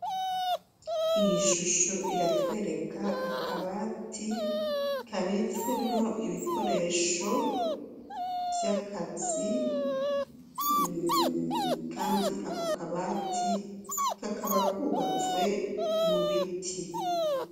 Iyi shusho, iratwereka akabati kabitswemwo ibikoresho vy'akazi, kandi ako kabati kakaba kubatswe mu biti.